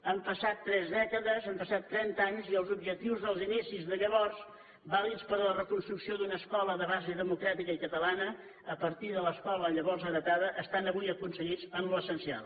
han passat tres dècades han passat trenta anys i els objectius dels inicis de llavors vàlids per a la reconstrucció d’una escola de base democràtica i catalana a partir de l’escola llavors heretada estan avui aconseguits en el que és essencial